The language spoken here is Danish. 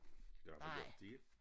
Det har vi gjort en del